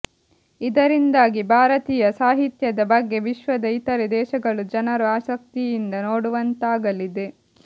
ಇದರಿಂದಾಗಿ ಭಾರತೀಯ ಸಾಹಿತ್ಯದ ಬಗ್ಗೆ ವಿಶ್ವದ ಇತರೆ ದೇಶಗಳು ಜನರು ಆಸಕ್ತಿಯಿಂದ ನೋಡುವಂತಾಗಲಿದೆ